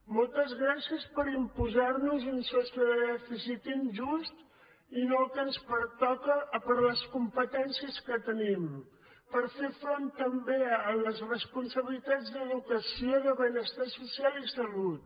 moltes gràcies per imposar nos un sostre de dèficit injust i no el que ens pertoca per les competències que tenim per fer front també a les responsabilitats d’educació de benestar social i salut